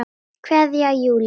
Kveðja, Júlíus.